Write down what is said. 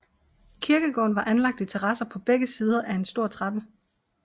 Kirkegården var anlagt i terrasser på begge sider af en stor trappe